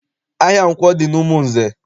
Ahịa nkwọ dị n'Umunze.